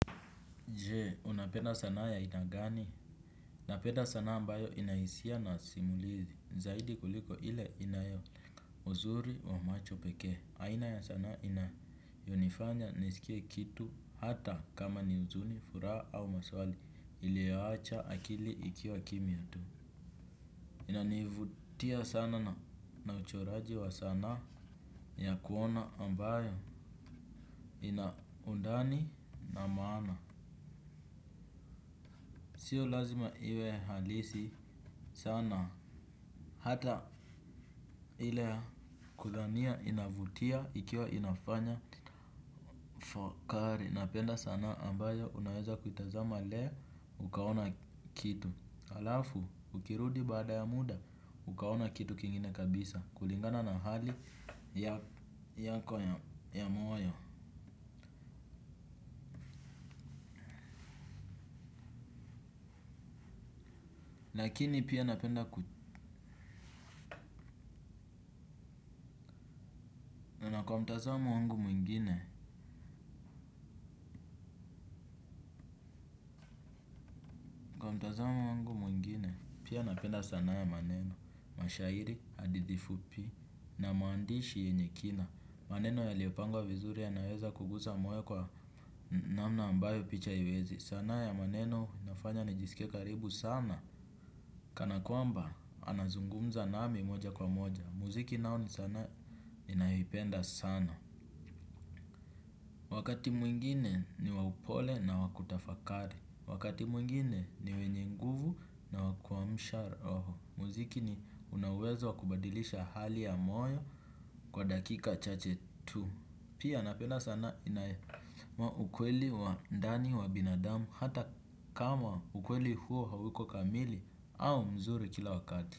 Je, unapenda sanaa ya aina gani? Napenda sanaa ambayo inaisia na simulizi. Zaidi kuliko ile inayo uzuri wa macho peke. Aina ya sanaa inayonifanya nisikie kitu hata kama ni uzuni, furaha au maswali iliwacha akili ikiwa kimya tu. Inanivutia sana na uchoraji wa sanaa ya kuona ambayo inaundani na maana. Sio lazima iwe halisi. Sana, hata ile ya kudhania inavutia ikiwa inafanya fakari, napenda sana ambayo unaweza kuitazama leo ukaona kitu. Alafu, ukirudi baada ya muda, ukaona kitu kingine kabisa. Kulingana na hali yako ya moyo. Lakini pia napenda ku nakwa mtazamo wangu mwingine. Mtazamo wangu mwingine pia napenda sana ya maneno. Mashairi, hadithi fupi. Na maandishi yenye kina. Maneno yaliopangwa vizuri yanaweza kugusa moyo kwa namna ambayo picha haiwezi. Sanaa ya maneno inafanya nijisike karibu sana. Kana kwamba anazungumza nami moja kwa moja. Muziki nayo ni sanaa ninayo ipenda sana. Wakati mwingine ni wa upole na wa kutafakari. Wakati mwingine ni wenye nguvu na waku amsha roho. Muziki ni unawezo kubadilisha hali ya moyo kwa dakika chache tu. Pia napena sanaa inaye ukweli wa ndani wa binadamu hata kama ukweli huo hauko kamili au mzuri kila wakati.